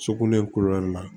Sokolɛkɔnɔ na